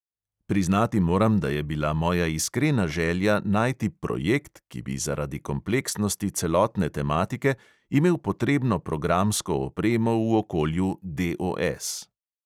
Priznati moram, da je bila moja iskrena želja najti "projekt", ki bi zaradi kompleksnosti celotne tematike imel potrebno programsko opremo v okolju DOS.